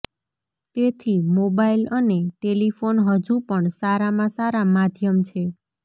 તેથી મોબાઇલ અને ટેલિફોન હજુ પણ સારામાં સારાં માધ્યમ છે